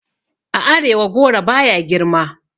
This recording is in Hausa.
A arewa goro baya girma